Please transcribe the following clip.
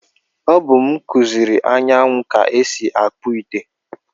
O bu m kuziri Anyanwụ ka esi akpu ite.